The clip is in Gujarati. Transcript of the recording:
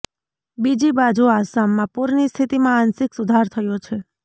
બીજી બાજુ આસામમાં પુરની સ્થિતીમાં આંશિક સુધાર થયો છે